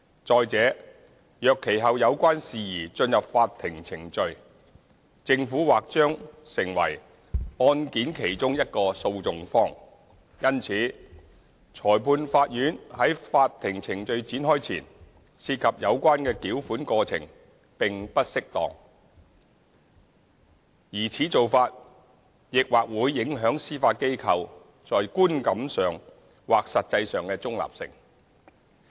再者，若其後有關事宜進入法庭程序，政府或將成為案件其中一個訴訟方；因此，裁判法院在法庭程序展開前涉及有關的繳款過程並不適當，而此做法亦或會影響司法機構在觀感上或實際上的中立性。